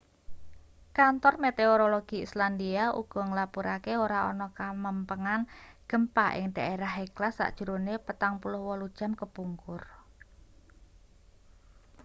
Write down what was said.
kantor meteorologi islandia uga nglapurake ora ana kamempengan gempa ing dhaerah hekla sajrone 48 jam kepungkur